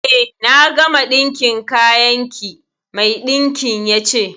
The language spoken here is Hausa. Eh, na gama ɗinkin kayan ki. Mai ɗinkin ya ce.